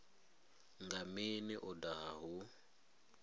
nga mini u daha hu